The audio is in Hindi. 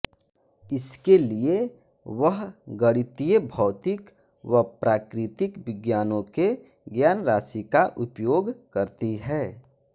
इसके लिये वह गणितीय भौतिक व प्राकृतिक विज्ञानों के ज्ञानराशि का उपयोग करती है